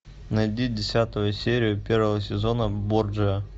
найди десятую серию первого сезона борджиа